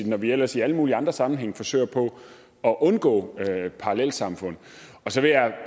når vi ellers i alle mulige andre sammenhænge forsøger på at undgå parallelsamfund så vil jeg